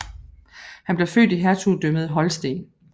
Han blev født i Hertugdømmet Holsten